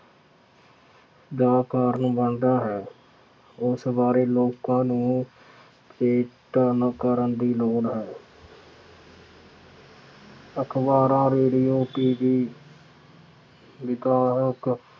ਦਾ ਕਾਰਨ ਬਣਦਾ ਹੈ। ਉਸ ਬਾਰੇ ਲੋਕਾਂ ਨੂੰ ਏਕਾਕਰਨ ਕਰਨ ਦੀ ਲੋੜ ਹੈ। ਅਖਬਾਰਾਂ, ਰੇਡੀਉ, TV ਵੀ ਕਾਰਕ